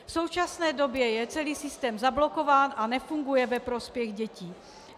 V současné době je celý systém zablokován a nefunguje ve prospěch dětí.